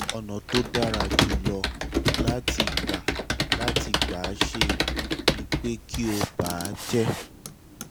ọ̀nà tó dára jù lọ láti gbà láti gbà ṣe é ni pé kí o bà á jẹ́